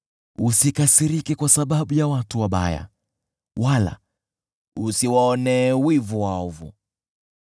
Usikasirike kwa sababu ya watu wabaya wala usiwaonee wivu waovu,